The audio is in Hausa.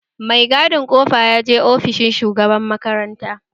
Mai gadin kofa yaje ofishin shugaban makaranta